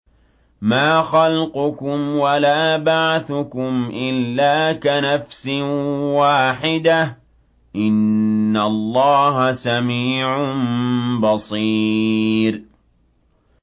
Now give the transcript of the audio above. مَّا خَلْقُكُمْ وَلَا بَعْثُكُمْ إِلَّا كَنَفْسٍ وَاحِدَةٍ ۗ إِنَّ اللَّهَ سَمِيعٌ بَصِيرٌ